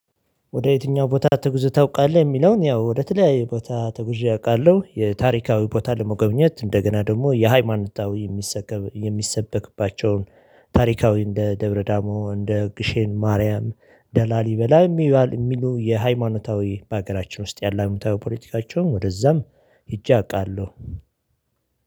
ወደ የትኛው ቦታ ተጉዘህ ታውቃለህ? የሚለውን ያው ወደ ተለያዩ ቦታ ተጉዤ አውቃለሁ የታሪካዊ ቦታ ለመጎብኘት እንደገና ደግሞ የሃይማኖታዊ የሚሰበክባቸውን ታሪካዊ እንደ ደብረዳሞ እንደ ግሼን ማርያም ደላሊ በላይ የሚባል የሚሉ የሃይማኖታዊ ባገራችን ውስጥ ያለ ሃይማኖታዊ ፖለቲካቸውን ወደዛም ሂጄ አውቃለሁ